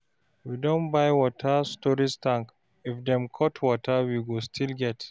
We don buy water storage tank, if dem cut water, we go still get.